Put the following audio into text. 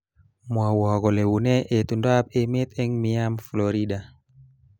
Mwowo kole unee itondoab emet eng Miam Florida